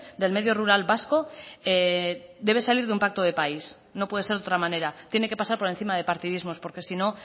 del medio rural vasco debe salir de un pacto de país no puede ser de otra manera tiene que pasar por encima de partidismos porque si no